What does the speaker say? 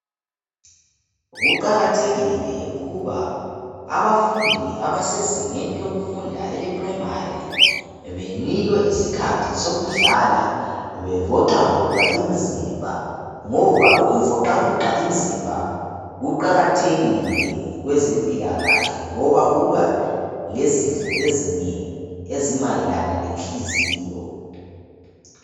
Kuqakathekile ukuba abafundi abasezingeni lokufunda ele primary benikwe isikhathi sokudlala bevoxavoxe imizimba ngoba ukuvoxavoxa imzimba kuqakathekile kwezempilakahle ngoba kuma lezifo ezinengi elimayelana lenhliziyo.